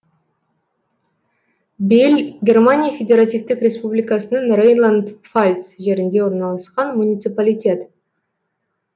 белль германия федеративтік республикасының рейнланд пфальц жерінде орналасқан муниципалитет